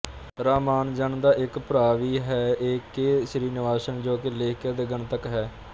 ਰਾਮਾਨੁਜਨ ਦਾ ਇੱਕ ਭਰਾ ਵੀ ਹੈ ਏ ਕੇ ਸ੍ਰੀਨਿਵਾਸਨ ਜੋ ਕਿ ਲੇਖਕ ਤੇ ਗਣਿਤਕ ਸਨ